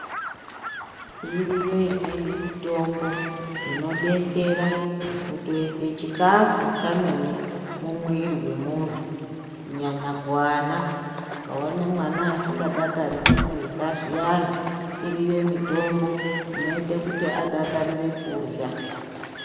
Iriyo imweni mitombo inodetsera kutoise chikhafu chemene mumwiri wemuntu kunyanya kuvana . Ukaona mwana asingadakariri kurya zviyani iriyo mitombo inoite kuti adakarire kurya.